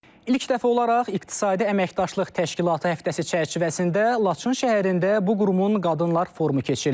İlk dəfə olaraq İqtisadi Əməkdaşlıq Təşkilatı həftəsi çərçivəsində Laçın şəhərində bu qurumun Qadınlar Forumu keçirilir.